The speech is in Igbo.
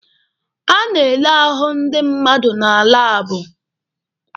A na-ele ahụ ndi mmadụ na laabụ.